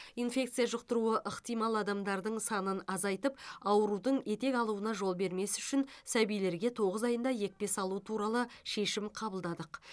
инфекция жұқтыруы ықтимал адамдардың санын азайтып аурудың етек алуына жол бермес үшін сәбилерге тоғыз айында екпе салу туралы шешім қабылдадық